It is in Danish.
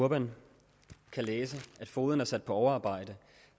urban kan læse at fogeden er sat på overarbejde